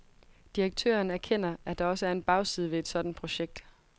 Direktøren erkender, at der også er en bagside ved et sådant projekt.